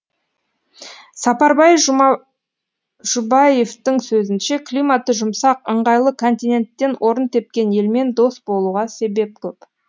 сапарбай жұбаевтың сөзінше климаты жұмсақ ыңғайлы континенттен орын тепкен елмен дос болуға себеп көп